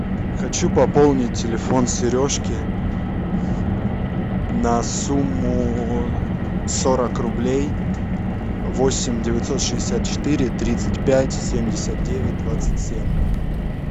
хочу пополнить телефон сережки на сумму сорок рублей восемь девятьсот шестьдесят четыре тридцать пять семьдесят девять двадцать семь